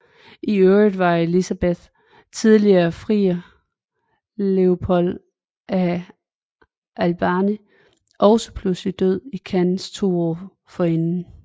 I øvrigt var Elisabeths tidligere friere Leopold af Albany også pludselig død i Cannes to år forinden